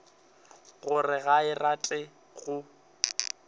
gore ga a rate go